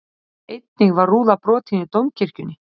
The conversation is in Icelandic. Einnig var rúða brotin í Dómkirkjunni